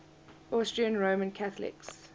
austrian roman catholics